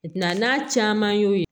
Bila n'a caman y'o ye